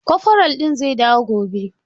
Koforal ɗin zai dawo gobe.